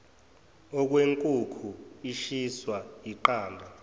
okwenkukhu ishiswa yiqanda